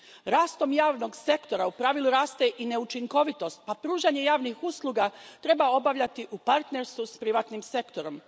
Rastom javnog sektora u pravilu raste i neučinkovitost pa pružanje javnih usluga treba obavljati u partnerstvu s privatnim sektorom.